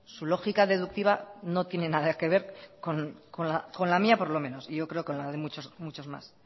su lógica deductiva no tiene nada que ver con la mía por menos y yo creo que con la de muchos más